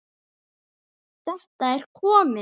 Þetta er komið!